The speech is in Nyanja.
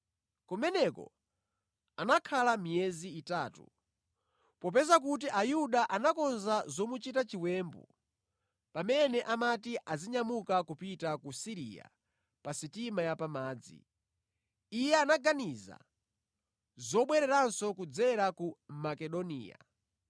Kumeneko anakhala miyezi itatu. Popeza kuti Ayuda anakonza zomuchita chiwembu pamene amati azinyamuka kupita ku Siriya pa sitima ya pamadzi, iye anaganiza zobwereranso kudzera ku Makedoniya.